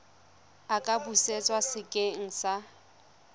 a ka busetswa sekeng sa